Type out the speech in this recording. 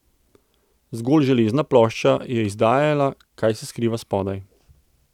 Zgolj železna plošča je izdajala, kaj se skriva spodaj.